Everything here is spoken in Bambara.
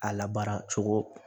A labaara cogo